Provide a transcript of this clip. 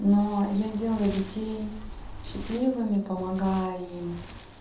но я делаю людей счастливыми помогая им